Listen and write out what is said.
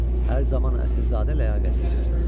Hər zaman əsilzadə ləyaqətini gözləsin.